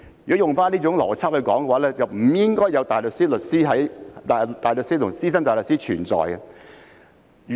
如果用回這種邏輯來說，便不應該有大律師和資深大律師存在。